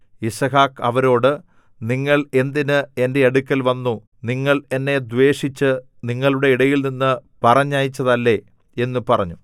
യിസ്ഹാക്ക് അവരോട് നിങ്ങൾ എന്തിന് എന്റെ അടുക്കൽ വന്നു നിങ്ങൾ എന്നെ ദ്വേഷിച്ച് നിങ്ങളുടെ ഇടയിൽനിന്ന് പറഞ്ഞയച്ചതല്ലേ എന്നു പറഞ്ഞു